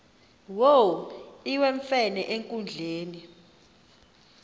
wo iwemfene enkundleni